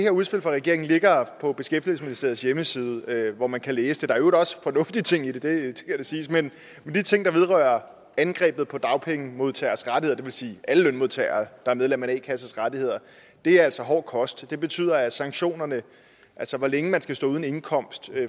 her udspil fra regeringen ligger på beskæftigelsesministeriets hjemmeside hvor man kan læse det der øvrigt også fornuftige ting i det det skal da siges men de ting der vedrører angrebet på dagpengemodtageres rettigheder det vil sige alle lønmodtagere der er medlem af en a kasses rettigheder er altså hård kost det betyder at sanktionerne altså hvor længe man skal stå uden indkomst